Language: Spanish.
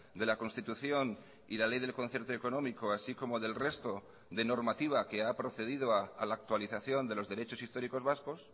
de la constitución y la ley del concierto económico así como del resto de normativa que ha procedido a la actualización de los derechos históricos vascos